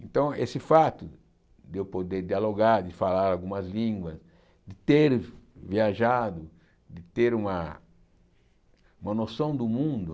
Então, esse fato de eu poder dialogar, de falar algumas línguas, de ter viajado, de ter uma uma noção do mundo.